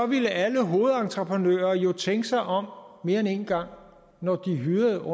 ville alle hovedentreprenører jo tænke sig om mere end én gang når de hyrede